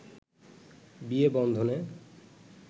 বিয়ে বন্ধনে